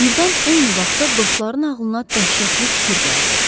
Birdən eyni vaxtda dostların ağlına dəhşətli fikir gəldi.